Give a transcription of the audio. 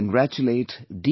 I congratulate D